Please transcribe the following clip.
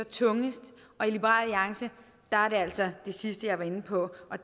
tungest og i liberal alliance er det altså det sidste jeg var inde på